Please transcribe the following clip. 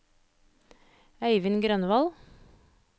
Øyvind Grønvold